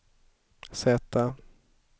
Z